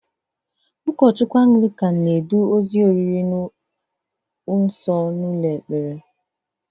Ụkọ Anglịkan na-eduzi ozi oriri nsọ n'ụlọ ekpere